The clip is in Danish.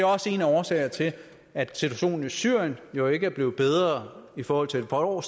også en af årsagerne til at situationen i syrien jo ikke er blevet bedre i forhold til for